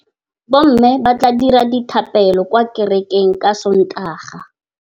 Bommê ba tla dira dithapêlô kwa kerekeng ka Sontaga.